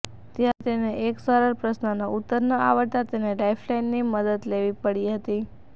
ત્યારે તેને એક સરળ પ્રશ્રનનો ઉત્તર ન આવડતાં તેને લાઇફલાઇનની મદદ લેવી પડી હતી